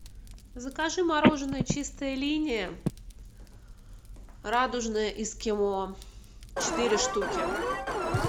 закажи мороженое чистая линия радужное эскимо четыре штуки